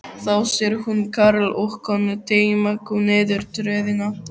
Þá sér hún karl og konu teyma kú niður tröðina.